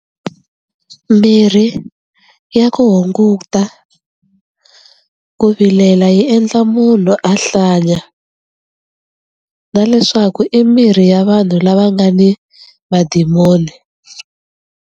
Mirhi ya ku hunguta ku vilela yi endla munhu a hlanya na leswaku i mirhi ya vanhu lava nga ni madimoni.